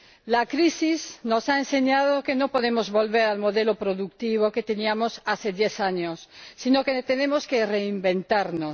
La crisis nos ha enseñado que no podemos volver al modelo productivo que teníamos hace diez años, sino que tenemos que reinventarnos